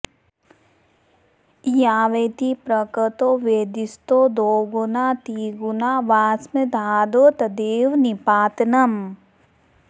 यावती प्रकृतौ वेदिस्ततो द्विगुणा त्रिगुणा वाऽश्वमेधादौ तत्रेदं निपातनम्